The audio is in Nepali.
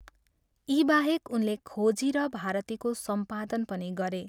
यी बाहेक उनले खोजी र भारतीको सम्पादन पनि गरे।